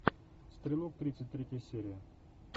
стрелок тридцать третья серия